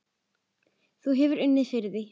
Þú hefur unnið fyrir því.